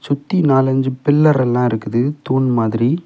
சுத்தி நாலு அஞ்சு பில்லர் எல்லா இருக்குது தூண் மாதிரி.